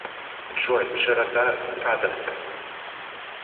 джой широта скадовск